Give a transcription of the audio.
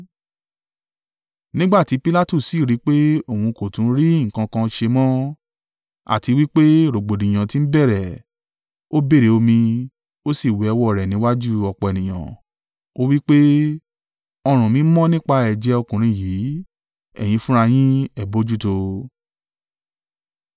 Nígbà tí Pilatu sì rí i pé òun kò tún rí nǹkan kan ṣe mọ́, àti wí pé rògbòdìyàn ti ń bẹ̀rẹ̀, ó béèrè omi, ó sì wẹ ọwọ́ rẹ̀ níwájú ọ̀pọ̀ ènìyàn, ó wí pé, “Ọrùn mí mọ́ nípa ẹ̀jẹ̀ ọkùnrin yìí. Ẹ̀yin fúnra yín, ẹ bojútó o!”